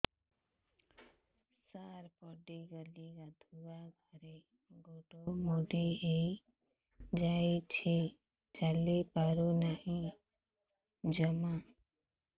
ସାର ପଡ଼ିଗଲି ଗାଧୁଆଘରେ ଗୋଡ ମୋଡି ହେଇଯାଇଛି ଚାଲିପାରୁ ନାହିଁ ଜମା